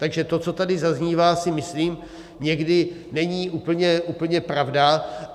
Takže to, co tady zaznívá, si myslím, někdy není úplně pravda.